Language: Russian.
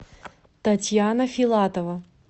татьяна филатова